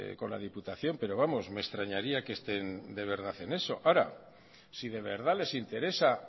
con la diputación pero vamos me extrañaría que estén de verdad en eso ahora si de verdad les interesa